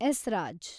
esraj